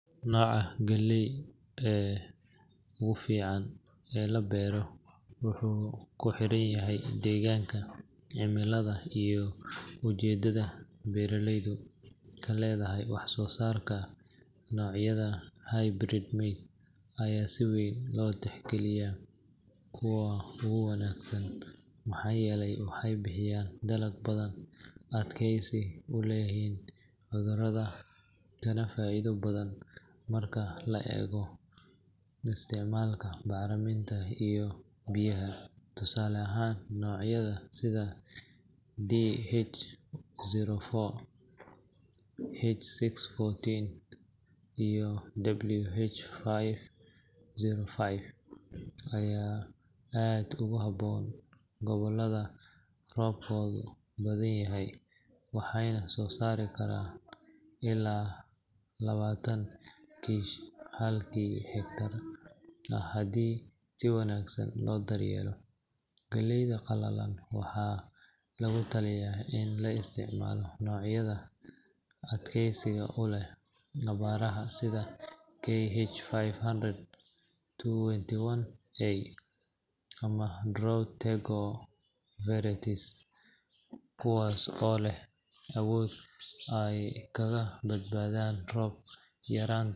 Nooca galeyda ugu fiican ee la beero wuxuu ku xiran yahay deegaanka, cimilada, iyo ujeedada beeraleydu ka leedahay wax soo saarka. Noocyada hybrid maize ayaa si weyn loo tixgeliyaa kuwa ugu wanaagsan maxaa yeelay waxay bixiyaan dalag badan, adkaysi u leeyihiin cudurrada, kana faa’iido badan marka la eego isticmaalka bacriminta iyo biyaha. Tusaale ahaan, noocyada sida DH04, H614, iyo WH505 ayaa aad ugu habboon gobollada roobkoodu badanyahay, waxayna soo saari karaan ilaa labaatan kiish halkii acre ah haddii si wanaagsan loo daryeelo. Gobollada qalalan waxaa lagula taliyaa in la isticmaalo noocyada adkeysiga u leh abaaraha sida KH500-21A ama Drought Tego varieties kuwaas oo leh awood ay kaga badbaadaan roob yaraanta.